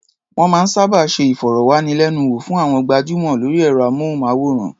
Wọ́n máa ń sábà ṣe ìfọ̀rọ̀wánilẹ́nuwò fún àwọn gbajúmọ̀ lórí ẹ̀rọ-amóhùnmáwòrán.